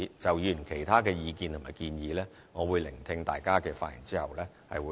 就議員其他的意見和建議，我會在聆聽大家的發言後再作回應。